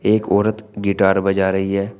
एक औरत गिटार बजा रही है।